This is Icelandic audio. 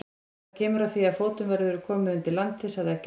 Það kemur að því að fótum verður komið undir landið, sagði Eggert.